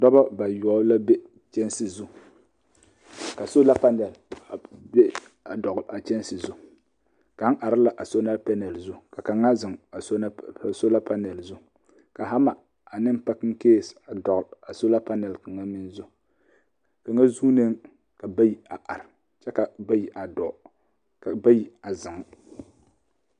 Dɔbɔ bayɔbɔ la be kyɛnsi zu ka sola panel a beŋ a be dɔle a kyɛnsi zu kaŋ are la a sola panel zu ka kaŋa zeŋ a sola panel zu ka hama ane pakincase a dɔle a sola panel kaŋ meŋ zu kaŋa suune ka bayi a are kyɛ ka bayi a dɔɔ ka bayi a zeŋ